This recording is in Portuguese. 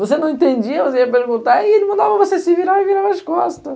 Você não entendia, você ia perguntar e ele mandava você se virar e virava as costas.